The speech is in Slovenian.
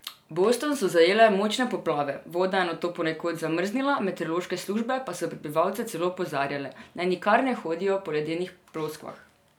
Boston so zajele močne poplave, voda je nato ponekod zamrznila, meteorološke službe pa so prebivalce celo opozarjale, naj nikar ne hodijo po ledenih ploskvah.